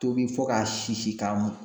Tobi fo k'a sisi k'a